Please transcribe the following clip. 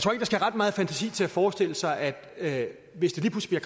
skal ret meget fantasi til at forestille sig at hvis det lige pludselig